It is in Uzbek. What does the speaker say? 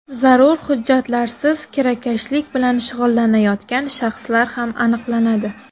Zarur hujjatlarsiz kirakashlik bilan shug‘ullanayotgan shaxslar ham aniqlanadi.